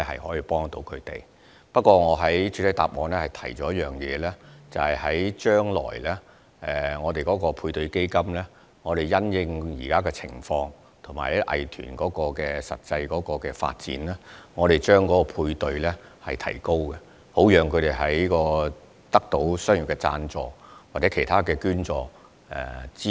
不過，正如我在主體答覆中提到，配對資助計劃將來會因應當時的情況和藝團的實際發展，提高配對比例及配對資助上限，好讓藝團得到商業贊助及其他捐助。